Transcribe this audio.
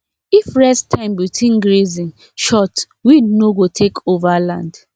if rest time between grazing short weed no go take over land